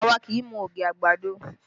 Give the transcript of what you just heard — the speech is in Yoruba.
Àwa kì í mu ogi àgbàdo